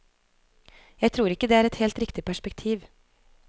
Jeg tror ikke det er et helt riktig perspektiv.